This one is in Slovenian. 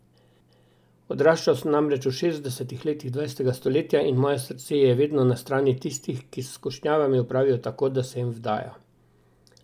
Odraščal sem namreč v šestdesetih letih dvajsetega stoletja, in moje srce je vedno na strani tistih, ki s skušnjavami opravijo tako, da se jim vdajo.